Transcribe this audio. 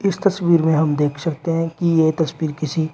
इस तस्वीर में हम देख सकते हैं कि यह तस्वीर किसी--